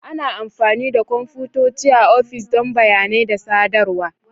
Ana amfani da kwamfutoci a ofis don bayanai da sadarwa.